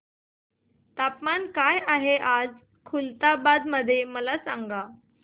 तापमान काय आहे खुलताबाद मध्ये मला सांगा